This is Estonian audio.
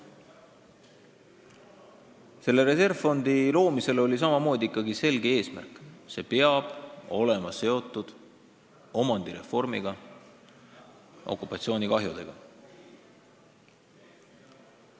Selle fondi loomisel oli samamoodi selge eesmärk: see peab olema seotud omandireformiga, okupatsioonikahjudega.